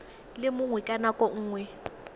le mongwe ka nako nngwe